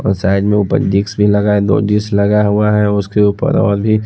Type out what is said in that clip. और् शायद मे ऊपर जीक्स भी लगा हुआ है दो जीक्स लगा हुआ है उसके ऊपर --